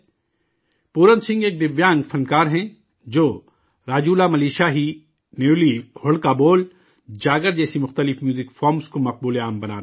پورن سنگھ ایک دویانگ فنکار ہیں، جو راجولا ملوشاہی، نیولی، ہڑکا بول، جاگر جیسی موسیقی کی مختلف شکلوں کو مقبول بنا رہے ہیں